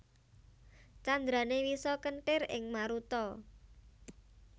Candrané Wisa kéntir ing maruta